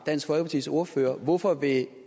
dansk folkepartis ordfører hvorfor vil